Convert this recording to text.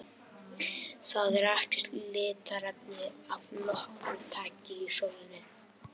Það er ekkert litarefni af nokkru tagi í sólinni.